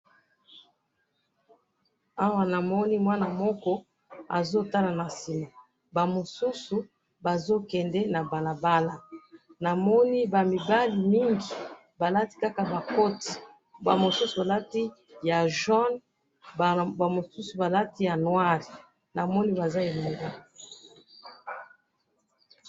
Awa namoni mwana moko azo tala na sima, ba mosusu bazo kende na balabala, namoni ba mibali mingi balati kaka ba koti, ba mosusu balati ya jaune, ba mosusu balati ya noir, namoni baza ebele.